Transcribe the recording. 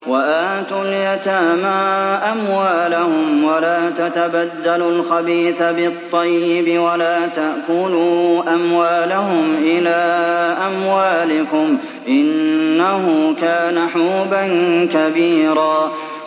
وَآتُوا الْيَتَامَىٰ أَمْوَالَهُمْ ۖ وَلَا تَتَبَدَّلُوا الْخَبِيثَ بِالطَّيِّبِ ۖ وَلَا تَأْكُلُوا أَمْوَالَهُمْ إِلَىٰ أَمْوَالِكُمْ ۚ إِنَّهُ كَانَ حُوبًا كَبِيرًا